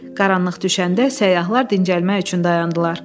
Qaranlıq düşəndə səyyahlar dincəlmək üçün dayandılar.